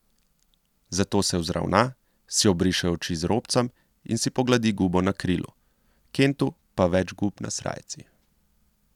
Zato se vzravna, si obriše oči z robcem in si pogladi gubo na krilu, Kentu pa več gub na srajci.